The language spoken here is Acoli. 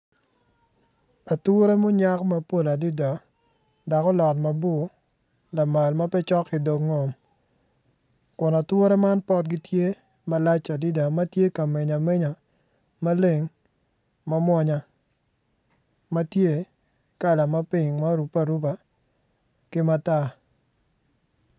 Atura munyak mapol dak olot mabor lamal ma pe cok ki ngom kun atura man potgi tye malac adida ma tye ka meny amenya maleng mawonya ma tye i kala ma ping ma orupe aruba ki matar